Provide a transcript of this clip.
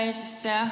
Hea eesistuja!